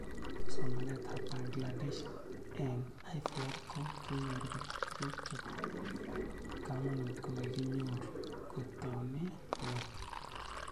Somanet ab Bangladesh eng' IVR ko kinyor kole tuguk chepo kamanut ko kikinyorkotaune ng'weny